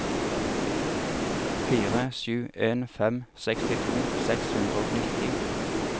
fire sju en fem sekstito seks hundre og nitti